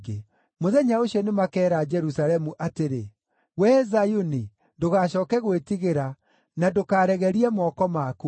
Mũthenya ũcio nĩmakeera Jerusalemu atĩrĩ, “Wee Zayuni, ndũgacooke gwĩtigĩra na ndũkaregerie moko maku.